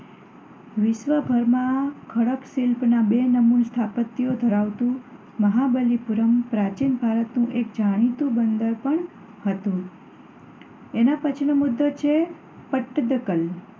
વિશ્વભરમાં ખડક શિલ્પનાં બે નમૂન સ્થાપત્યો ધરાવતું મહાબલીપુરમ પ્રાચીન ભારતનું એક જાણીતું બંદર પણ હતું. એના પછી નો મુદ્દો છે પટ્ટદકલ